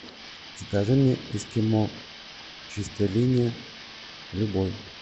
закажи мне эскимо чистая линия любой